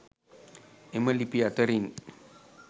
එම ලිපි අතරින්